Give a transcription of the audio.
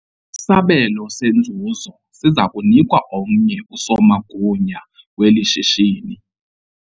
Isabelo senzuzo siza kunikwa omnye usomagunya weli shishini.